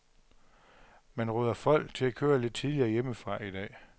Man råder folk til at køre lidt tidligere hjemmefra i dag.